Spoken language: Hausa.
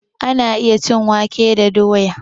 Ana iya cin wake da doya